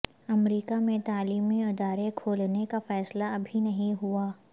امریکہ میں تعلیمی ادارے کھولنے کا فیصلہ ابھی نہیں ہوا